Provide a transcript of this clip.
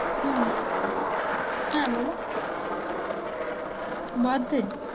হম হ্যাঁ বলো birthday